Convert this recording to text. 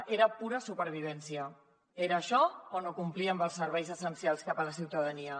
era pura supervivència era això o no complir amb els serveis essencials cap a la ciutadania